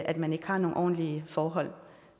at man ikke har nogen ordentlige forhold